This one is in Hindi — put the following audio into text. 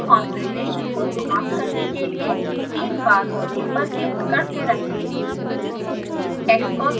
function ब्लॉक के कॉन्फ़िग्रेशन को समाप्त करने के लिए तीन बार ok पर क्लिक करते रहें